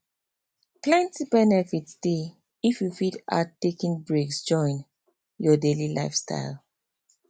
plenty benefit dey if you fit add taking breaks join your daily lifestyle